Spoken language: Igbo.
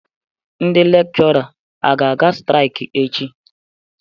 Ndị Lekshora a ga-aga straik echi?